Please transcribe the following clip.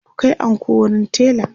ku Kai anko wurin tela!